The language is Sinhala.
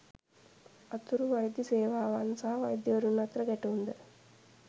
අතුරු වෛද්‍ය සේවාවන් සහ වෛද්‍යවරුන් අතර ගැටුම්ද